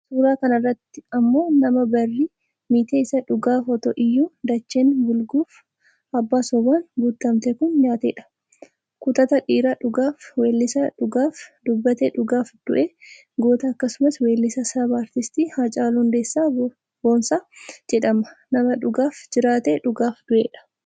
Suuraa kanarratti ammoo nama barri miite isa dhugaaf otoo iyyuu dacheen bulguuf abbaa sobaan guuttamte kun nyaattedha . Kutataa dhiira dhugaaf weellisee dhugaaf dubbatee dhugaaf du'e goota akkasumas weellisaa sabaa Aartisti Haacaaluu Hundeessaa Boonsaa jedhama, nama dhugaaf jiraatee dhugaaf du'edha